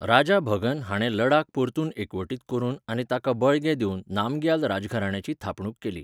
राजा भगन हाणें लडाख परतून एकवटीत करून आऩी ताका बळगें दिवन, नामग्याल राजघराण्याची थापणूक केली.